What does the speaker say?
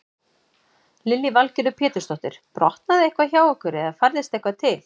Lillý Valgerður Pétursdóttir: Brotnaði eitthvað hjá ykkur eða færðist eitthvað til?